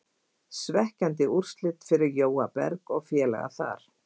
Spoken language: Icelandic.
Svekkjandi úrslit fyrir Jóa Berg og félaga þar.